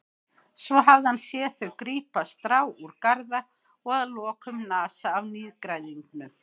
Svo hafði hann séð þau grípa strá úr garða og að lokum nasa af nýgræðingnum.